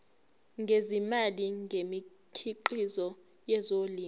ngezimali ngemikhiqizo yezolimo